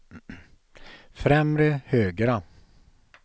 främre högra